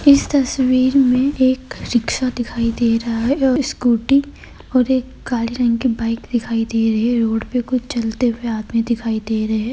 इस तस्वीर में एक रिक्शा दिखाई दे रहा है और स्कूटी और एक काली रंग की बाइक दिखाई दे रही है। रोड पे कुछ चलते हुए आदमी दिखाई दे रहे --